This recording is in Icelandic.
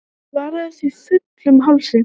Þú svaraðir því fullum hálsi.